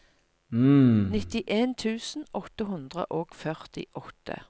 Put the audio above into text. nittien tusen åtte hundre og førtiåtte